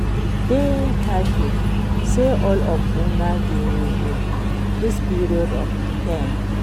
I dey happy say all of una dey with me dis period of pain